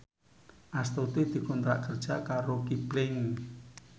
Astuti dikontrak kerja karo Kipling